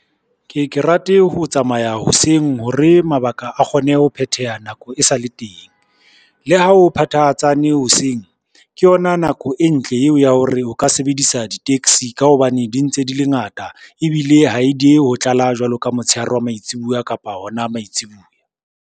Ke ke rate ho tsamaya hoseng hore mabaka a kgone ho phetheha nako e sale teng. Le ha ho phethahatsane hoseng, ke yona nako e ntle yeo ya hore o ka sebedisa di-taxi ka hobane di ntse di le ngata ebile ha e diehe ho tlala jwalo ka motshehare wa maitsibuya kapa hona maitsibuya.